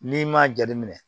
N'i m'a jateminɛ